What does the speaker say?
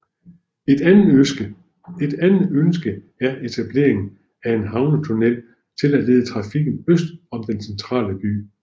Et andet ønske er etableringen af en havnetunnel til at lede trafikken øst om den centrale by